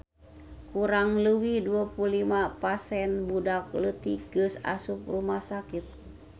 Kurang leuwih 25 pasien budak leutik geus asup rumah sakit